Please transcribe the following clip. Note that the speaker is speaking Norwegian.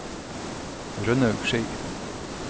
Rønnaug Schei